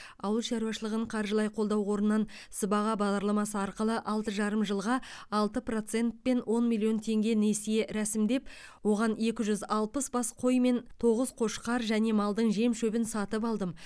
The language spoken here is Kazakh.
ауыл шаруашылығын қаржылай қолдау қорынан сыбаға бағдарламасы арқылы алты жарым жылға алты процентпен он миллион теңге несие рәсімдеп оған екі жүз алпыс бас қой мен тоғыз қошқар және малдың жем шөбін сатып алдым